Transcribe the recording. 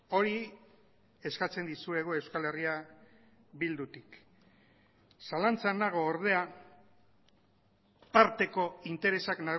hori eskatzen dizuegu euskal herria bildutik zalantzan nago ordea parteko interesak